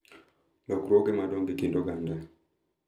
Lokruoge madongo e kind oganda